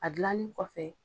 A dilanni kɔfɛ.